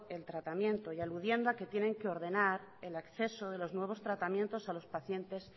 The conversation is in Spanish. el tratamiento y aludiendo a que tienen que ordenar el acceso de los nuevos tratamientos a los pacientes